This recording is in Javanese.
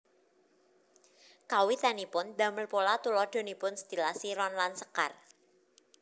Kawitanipun damel pola tuladhanipun stilasi ron lan sekar